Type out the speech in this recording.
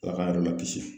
Ala ka yɔrɔ lakisi